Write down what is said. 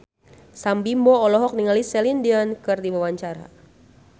Sam Bimbo olohok ningali Celine Dion keur diwawancara